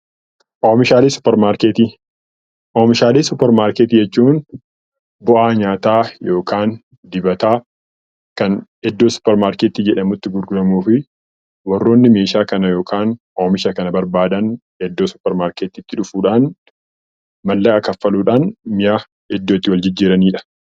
Oomishalee supper maarkettii, oomishaalee supper maarkettii jechuun bu'aa nyaataa yookaan dibataa kan iddoo supper markettii jedhamutti gurguramufi warroonni meeshaa kana yookaan oomisha kana barbaadaan iddoo supper maarketiitti dhufuudhaan maallaqa kanfaluudhaan mi'a iddoo itti wal jijjiirranidha.